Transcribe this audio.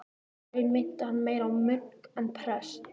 Í raun minnti hann meira á munk en prest.